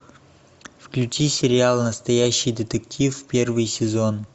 включи сериал настоящий детектив первый сезон